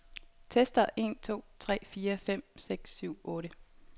Tester en to tre fire fem seks syv otte.